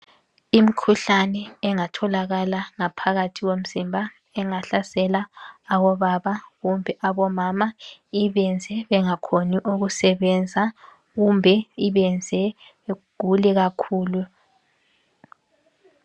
Imkhuhlane engatholakala ngaphakathi komzimba. Engahlasela abobaba, kumbe abomama. Ibenze bengakhoni ukusebenza, kumbe ibenze begule kakhulu.